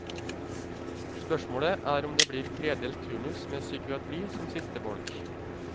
Spørsmålet er om det blir tredelt turnus med psykiatri som siste bolk.